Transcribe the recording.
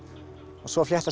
svo fléttast